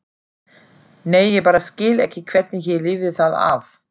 Nei, ég bara skil ekki hvernig ég lifði það af.